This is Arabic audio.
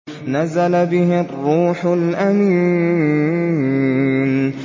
نَزَلَ بِهِ الرُّوحُ الْأَمِينُ